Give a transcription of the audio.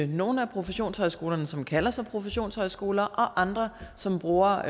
nogle af professionshøjskolerne som kalder sig professionshøjskoler og andre som bruger